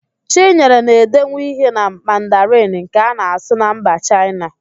Chinyere na-edenwu ihe na Mandarịn nke a na-asụ na mba Chaịna